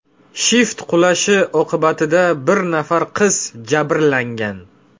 Shift qulashi oqibatida bir nafar qiz jabrlangan.